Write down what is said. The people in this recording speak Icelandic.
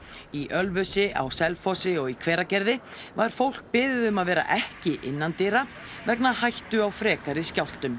í Ölfusi á Selfossi og í Hveragerði var fólk beðið um að vera ekki innandyra vegna hættu á frekari skjálftum